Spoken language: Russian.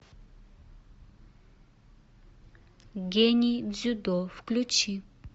гений дзюдо включи